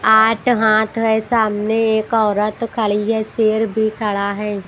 आठ हाथ है सामने एक औरत खड़ी है शेर भी खड़ा है।